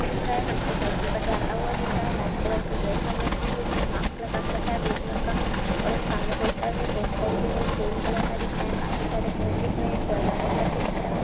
दिख रहा है। पर्सन साइकिल पर जाता हुआ दिख रहा है। व्हाइट कलर के ड्रेस पहन रखी है। उसने माक्स लगा के रखा है ब्लू कलर का और एक सामने पोस्टर है। पोस्टर जो है वो ग्रीन कलर का दिख रहा है। काफी सारे पेड़ दिख रहे हैं। पेड़ हरे कलर के दिख रहा।